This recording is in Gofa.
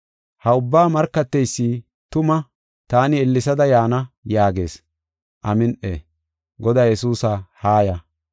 Ha ubbaa markateysi, “Tuma, taani ellesada yaana” yaagees. Amin7i; Godaa Yesuusa, haaya.